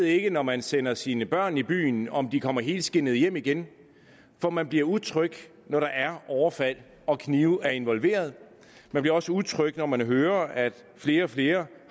ikke når man sender sine børn i byen om de kommer helskindede hjem igen for man bliver utryg når der er overfald og knive er involveret man bliver også utryg når man hører at flere og flere